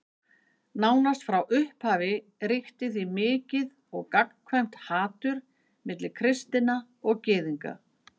Nánast frá upphafi ríkti því mikið og gagnkvæmt hatur milli kristinna og Gyðinga.